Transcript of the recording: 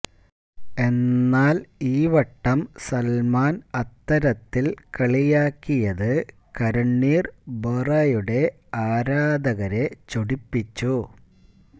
എന്നാല് ഈ വട്ടം സല്മാന് അത്തരത്തില് കളിയാക്കിയത് കരണ്വീര് ബൊറയുടെ ആരാധകരെ ചൊടിപ്പിച്ചു